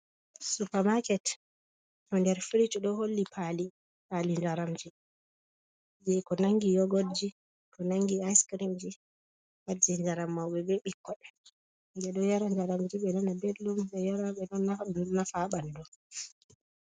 Supa maket, ɗo nder frish ɗo holli pali, pali njaram ji je ko nandi yogot ji ko nandi ais crim ji pat je jaram ji mauɓe be ɓikkon, ɓe ɗo njaram ji ɓe nana belɗum, ɓe ɗo yara ɗo nafa ha ɓandu.